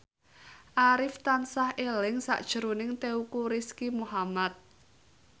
Arif tansah eling sakjroning Teuku Rizky Muhammad